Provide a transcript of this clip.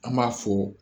An b'a fɔ